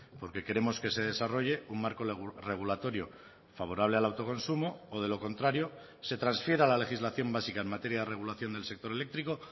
porque queremos que se desarrolle un marco regulatorio favorable al autoconsumo o de lo contrario se transfiera la legislación básica en materia de regulación del sector eléctrico